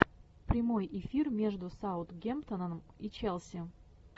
прямой эфир между саутгемптоном и челси